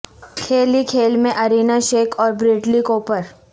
کھیل ہی کھیل میں ارینا شیک اور بریڈلی کوپر